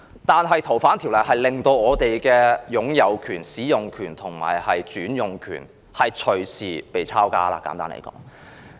但是，簡單來說，《條例草案》在通過後，會令我們的擁有權、使用權和轉移權隨時被"抄家"。